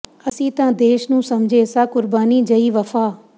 ਅਸੀਂ ਤਾਂ ਦੇਸ਼ ਨੂੰ ਸਮਝੇ ਸਾਂ ਕੁਰਬਾਨੀ ਜਹੀ ਵਫ਼ਾ